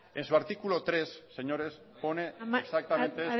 en su artículo tres señores pone exactamente